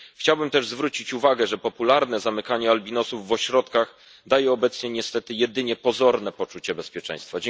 Chciałbym też zwrócić uwagę, że popularne zamykanie albinosów w ośrodkach daje obecnie niestety jedynie pozorne poczucie bezpieczeństwa.